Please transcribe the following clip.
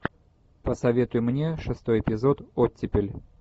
посоветуй мне шестой эпизод оттепель